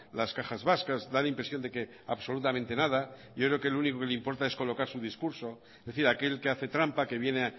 las cajas vascas da la impresión de que absolutamente nada yo creo que lo único que le importa es colocar su discurso es decir aquel que hace trampa que viene